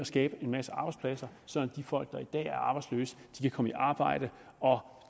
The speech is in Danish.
skabe en masse arbejdspladser sådan folk der i dag er arbejdsløse kan komme i arbejde og